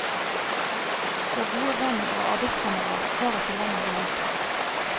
Vår gode venn og arbeidskamerat var ikke lenger iblant oss.